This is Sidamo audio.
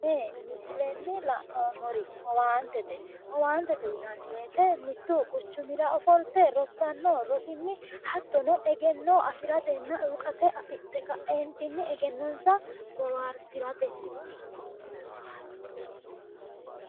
Tene misilen la'noomor owaantete, owaantete yinan woyite mitu quchumra offollite rosaano rosini hattono egeno afratena iwuqate afidhe kaenitini egenonisa bohaarisratenti